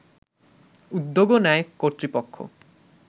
উদ্যোগও নেয় কর্তৃপক্ষ